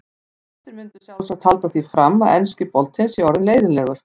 Fæstir myndu sjálfsagt halda því fram að enski boltinn sé orðinn leiðinlegur.